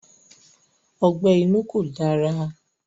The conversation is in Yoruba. Ọgbẹ́ inú kò dára.